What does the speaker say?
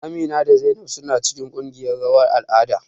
Amina da Zainab suna cikin ƙungiyan rawar al'ada.